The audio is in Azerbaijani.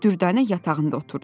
Dürdanə yatağında oturdu.